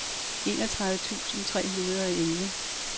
enogtredive tusind tre hundrede og elleve